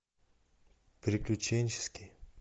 приключенческий